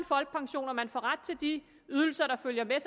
folkepension og at man får ret til de ydelser der følger